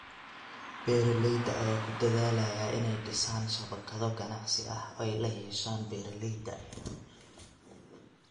Beeralayda ayaa ku dadaalaya inay dhisaan shabakado ganacsi oo ay la yeeshaan beeralayda.